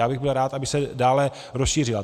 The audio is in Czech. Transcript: Já bych byl rád, aby se dále rozšířila.